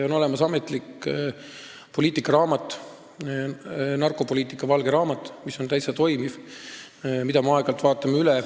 On olemas ametlik poliitikaraamat, narkopoliitika valge raamat, mis on täitsa toimiv ja mida me aeg-ajalt üle vaatame.